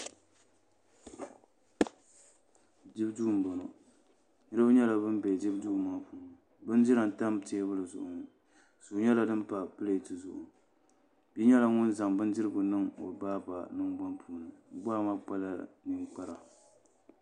Dibu duu n boŋo Doo nyɛla ŋun bɛ dibu duu ŋo ni bindira n tam teebuli zuɣu ŋo suu nyɛla din pa pileet zuɣu ŋo bia nyɛla ŋun zaŋ bindirigu niŋ o baaba nangbani puuni o baa maa nyɛla ŋun kpa ninkpara